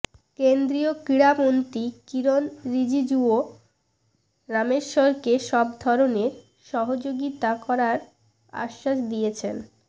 কেন্দ্রীয় ক্রীড়ামন্ত্রী কিরণ রিজিজুও রামেশ্বরকে সব ধরনের সহযোগিতা করার আশ্বাস দিয়েছেন